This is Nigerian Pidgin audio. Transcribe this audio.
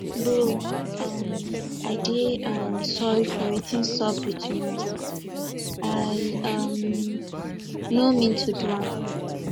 bro um i dey um sorry for wetin sup between us i um no mean to do am